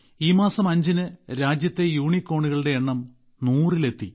ഈ മാസം അഞ്ചിന് രാജ്യത്തെ യൂണികോണുകളുടെ എണ്ണം 100ൽ എത്തി